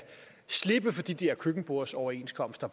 slippe for de der køkkenbordsoverenskomster